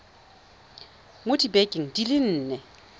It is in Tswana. mo dibekeng di le nne